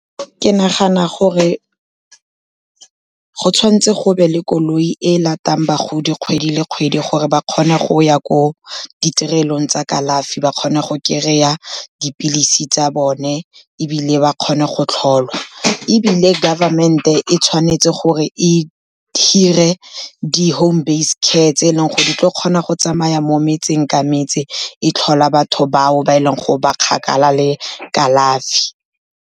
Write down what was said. Ke nagana gore go tshwan'tse go be le koloi e latang bagodi kgwedi le kgwedi gore ba kgone go ya ko ditirelong tsa kalafi ba kgone go kry-a dipilisi tsa bone, ebile ba kgone go tlholwa. Ebile government-e e tshwanetse gore e hire di-home based care tse e leng gore di tla kgona go tsamaya mo metseng ka metse, e tlhola batho bao ba e leng gore ba kgakala le kalafi.